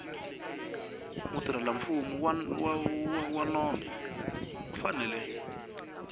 mutirhelamfumo wa nondzo u fanele